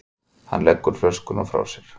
Hann leggur flöskuna frá sér.